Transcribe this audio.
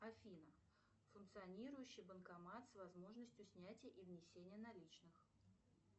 афина функционирующий банкомат с возможностью снятия и внесения наличных